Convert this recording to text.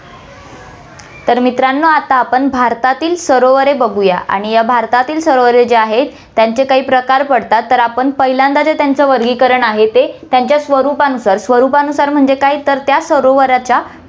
तर मित्रांनो, आपण आता भारतातील सरोवरे बघूया आणि या भारतातील सरोवरे जे आहेत, त्यांचे काही प्रकार पडतात, तर आपण पहिल्यांदा जे त्यांचे वर्गीकरण आहे ते त्याच्या स्वरूपानुसार, स्वरूपानुसार म्हणजे काय, तर त्या सरोवराच्या